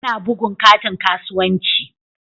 Ana bugun katin kasuwanci.